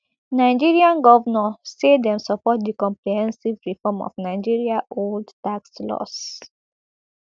nigerian govnors say dem support di comprehensive reform of nigeria old tax laws